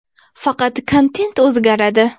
Faqat kontent o‘zgaradi.